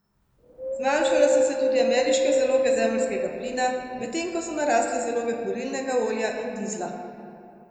Zmanjšale so se tudi ameriške zaloge zemeljskega plina, medtem ko so narasle zaloge kurilnega olja in dizla.